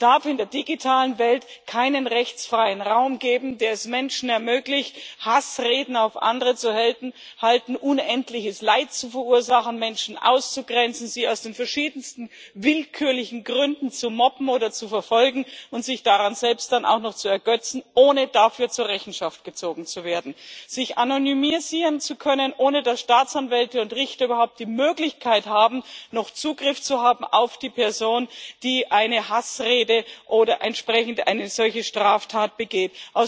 Es darf in der digitalen Welt keinen rechtsfreien Raum geben, der es Menschen ermöglicht, Hassreden auf andere zu halten, unendliches Leid zu verursachen, Menschen auszugrenzen, sie aus den verschiedensten willkürlichen Gründen zu mobben oder zu verfolgen und sich daran selbst dann auch noch zu ergötzen, ohne dafür zur Rechenschaft gezogen zu werden, sich anonymisieren zu können, ohne dass Staatsanwälte und Richter überhaupt die Möglichkeit haben, noch Zugriff zu haben auf die Person, die eine Hassrede oder entsprechend eine solche Straftat begeht.